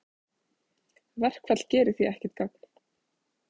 Verkfall gerir því ekkert gagn